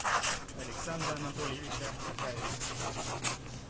александра анатольевича акаева